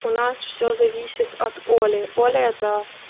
у нас всё зависит от оли оля это